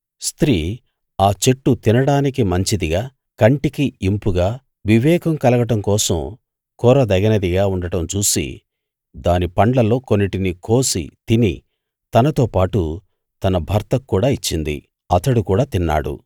స్త్రీ ఆ చెట్టు తినడానికి మంచిదిగా కంటికి ఇంపుగా వివేకం కలగడం కోసం కోరదగినదిగా ఉండడం చూసి దాని పండ్లలో కొన్నిటిని కోసి తిని తనతోపాటు తన భర్తకు కూడా ఇచ్చింది అతడు కూడా తిన్నాడు